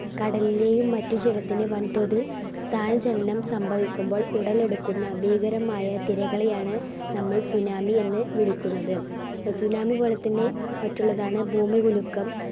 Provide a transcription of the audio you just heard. കടലിലെയും മറ്റു ജലത്തിൽ വൻ തോതിൽ സ്ഥാന ചലനം സംഭവിക്കുമ്പോൾ ഉടലെടുക്കുന്ന ഭീകരമായ തിരകളെയാണ് നമ്മൾ tsunami എന്ന് വിളിക്കുന്നത്. tsunami പോലെ തന്നെ മറ്റുള്ളതാണ് ഭൂമി കുലുക്കം.